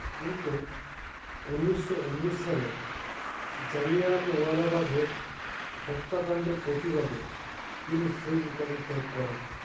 কিন্তু উনিশো উনিশ সালে জালিয়ানওয়ালাবাগের হত্যাকান্ডের প্রতিবাদে তিনি সেই উপাধি ত্যাগ করেন